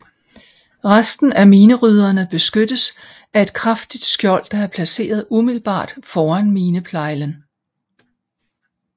Resten af minerydderne beskyttes af et kraftigt skjold der er placeret umiddelbart foran mineplejlen